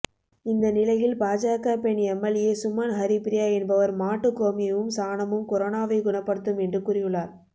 இந்த நிலையில் பாஜக பெண் எம்எல்ஏ சுமன் ஹரிப்பிரியா என்பவர் மாட்டு கோமியமும் சாணமும் கொரோனாவை குணப்படுத்தும் என்று கூறியுள்ளார்